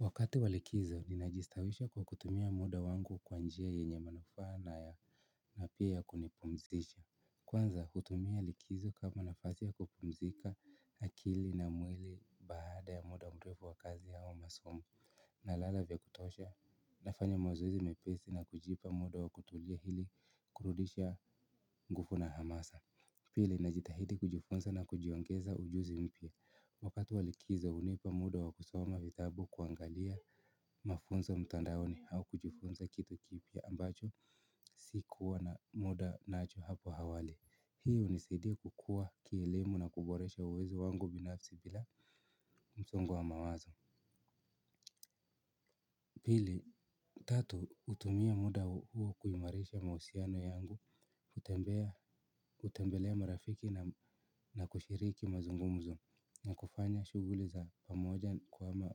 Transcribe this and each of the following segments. Wakati wa likizo, ninajistawisha kwa kutumia muda wangu kwa njia yenye manufaa na ya na pia ya kunipumzisha. Kwanza, hutumia likizo kama nafasi ya kupumzika akili na mwili baada ya muda mrefu wa kazi au masomo. Nalala vya kutosha, nafanya mazoezi mepesi na kujipa muda wa kutulia ili kurudisha nguvu na hamasa. Pili, najitahidi kujifunza na kujiongeza ujuzi mpya. Wakati wa likizo hunipa muda wakusoma vitabu kuangalia mafunzo mtandaoni au kujifunza kitu kipya ambacho sikuwa na muda nacho hapo awali hii hunisaidia kukua kielemu na kuboresha uwezo wangu binafsi bila msongo wa mawazo pili, tatu hutumia muda huo kuimarisha mahusiano yangu, kutembelea marafiki na kushiriki mazungumzo na kufanya shughuli za pamoja kama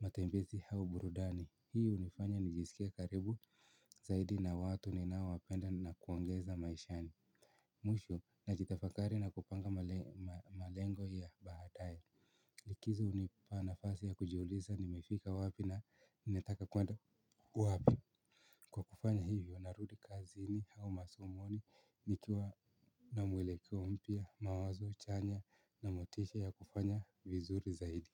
matembezi au burudani hii hunifanya nijisikie karibu zaidi na watu ninaowapenda na kuongeza maishani mwisho najitafakari na kupanga malengo ya baadaye likizo hunipa nafasi ya kujuliza nimefika wapi na nitaka kuenda wapi kwa kufanya hivyo narudi kazini au masomoni nikiwa na mwelekeo mpya mawazo chanya na motisha ya kufanya vizuri zaidi.